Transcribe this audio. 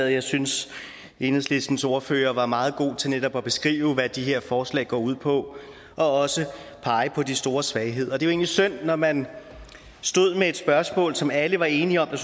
jeg synes at enhedslistens ordfører var meget god til netop at beskrive hvad de her forslag går ud på og også pege på de store svagheder og det er jo egentlig synd når man stod med et spørgsmål som alle var enige om der